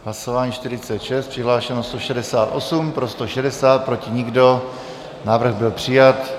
Hlasování 46, přihlášeno 168, pro 160, proti nikdo, návrh byl přijat.